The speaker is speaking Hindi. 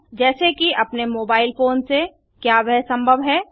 जैसे कि अपने मोबाइल फोन से क्या वह संभव है